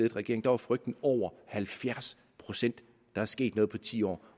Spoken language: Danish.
regering var frygten over halvfjerds procent der er sket noget på ti år